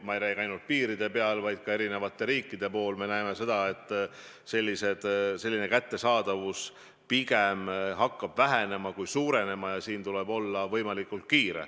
Ma ei räägi ainult piiridel toimuvast, eri riikides me näeme seda, et vajalike vahendite kättesaadavus hakkab vähenema ja meil tuleb olla võimalikult kiire.